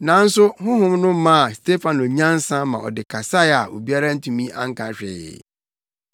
Nanso Honhom no maa Stefano nyansa ma ɔde kasae a obiara antumi anka hwee.